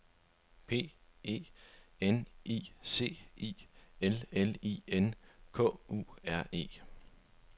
P E N I C I L L I N K U R E